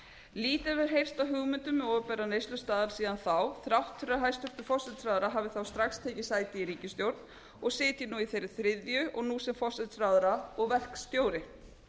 lítið hefur heyrst af hugmyndum um opinbera neyslustaðal síðan þá þrátt fyrir að hæstvirtur forsætisráðherra hafi þá strax tekið sæti í ríkisstjórn og sitji nú í þeirri þriðju og nú sem forsætisráðherra og verkstjóri